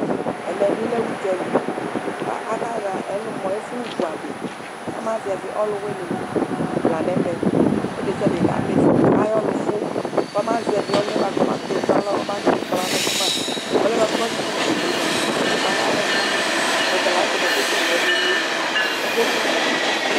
ɛmébilɛ ωdzɑli kɑhɑ ɛlωmɔ ɛfω vωɑɗi kɑmɑ zɛvi ɔlωwωni lɑɲɛmẽ ɔluɖɛṣiɑɗɛ kɑmifɔ kɑyõlωfω kɑzɛvi ɔlωɛ kɔmɑkωku tɔɲɑlɔkɑmɑ ɔlωɛbωɑku ɔmɑkωtu tɔɲɑlɔkɑmɑ ɔlωɛkɔmɑ kωtωwũli mωɑ mɑyɛlɛkɑmɑ ɔtɑlɑŋtɛ ƙɑkɛkɛké ṅɛmẽmiɛ ɑkɛkuɑlɛ